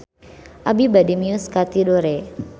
Abi bade mios ka Tidore